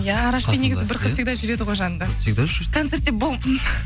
иә арашпен негізі бір қыз всегда жүреді ғой жанында концертте бум